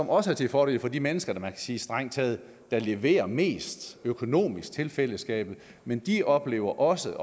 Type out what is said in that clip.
også til fordel for de mennesker der kan man sige strengt taget leverer mest økonomisk til fællesskabet men de oplever også